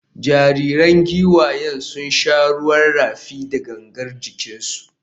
Jaririn giwayen sun sha ruwan rafi da gangar jikinsu.